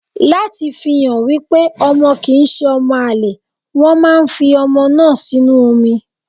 Láti fi hàn wípé ọmọ kì ń ṣe ọmọ àlè, wọn máa ń fi ọmọ náà sínú omi.